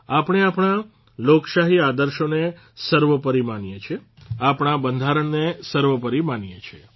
આપણે આપણા લોકશાહી આદર્શોને સર્વોપરી માનીએ છીએ આપણા બંધારણને સર્વોપરી માનીએ છીએ